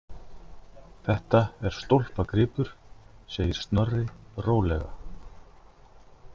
Þetta er stólpagripur, segir Snorri rólega.